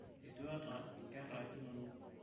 etuata nkera inonok